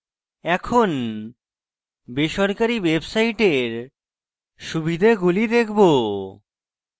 এখন বেসরকারী websites সুবিধাগুলি দেখবো